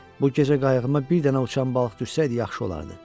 Bu gecə qayığıma bir dənə uçan balıq düşsəydi yaxşı olardı.